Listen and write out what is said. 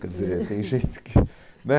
Quer dizer, tem gente que... né?